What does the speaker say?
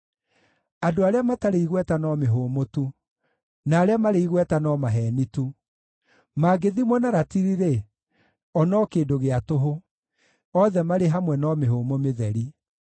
Andũ arĩa matarĩ igweta no mĩhũmũ tu, na arĩa marĩ igweta no maheeni tu; mangĩthimwo na ratiri-rĩ, o no kĩndũ gĩa tũhũ; othe marĩ hamwe no mĩhũmũ mĩtheri.